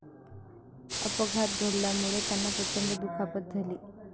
अपघात घडल्यामुळे त्यांना प्रचंड दुखापत झाली.